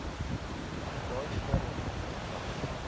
daai stadium was